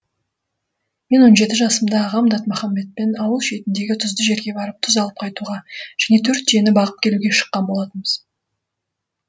мен он жеті жасымда ағам датмаханбетпен ауыл шетіндегі тұзды жерге барып тұз алып қайтуға және төрт түйені бағып келуге шыққан болатынбыз